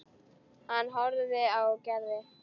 Hann horfði á Gerði.